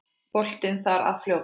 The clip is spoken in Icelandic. Boltinn þar að fljóta.